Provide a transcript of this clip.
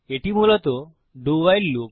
এটি মূলত do WHILE loop